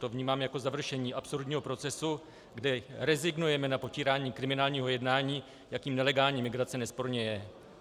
To vnímám jako završení absurdního procesu, kde rezignujeme na potírání kriminálního jednání, jakým nelegální migrace nesporně je.